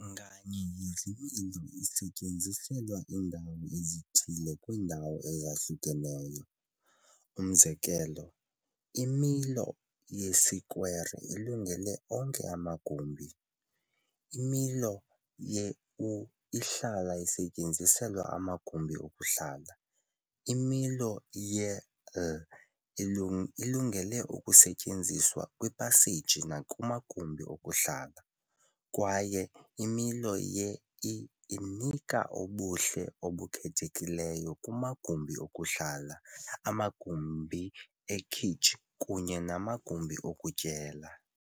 Nganye yezi milo isetyenziselwa iindawo ezithile kwiindawo ezahlukeneyo, umzekelo, imilo yesikwere ilungele onke amagumbi, imilo Ye-U ihlala isetyenziselwa amagumbi okuhlala, imilo Ye-L ilungele ukusetyenziswa kwiipaseji nakumagumbi okuhlala, kwaye imilo ye-I inika ubuhle obukhethekileyo kumagumbi okuhlala, amagumbi ekhitshi kunye namagumbi okutyela.